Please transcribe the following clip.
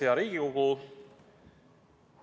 Hea Riigikogu!